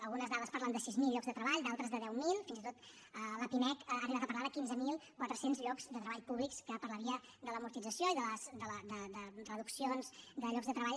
algunes dades parlen de sis mil llocs de treball d’altres de deu mil fins i tot la pimec ha arribat a parlar de quinze mil quatre cents llocs de treball públics que per la via de l’amortització i de reduccions de llocs de treball